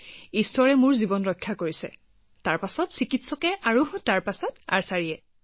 যদি মোৰ জীৱন ৰক্ষা হয় তেন্তে ভগৱানৰ ডাঙৰ হাত থাকিব তাৰ পিছত ডাক্তৰৰ আৰু তাৰ পিছত আৰ্চাৰীৰ